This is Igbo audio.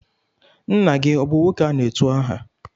Nna gị ọ bụ nwoke a na-etu aha?